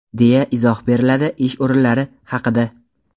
deya izoh beriladi ish o‘rinlari haqida..